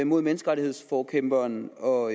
mod menneskerettighedsforkæmperen og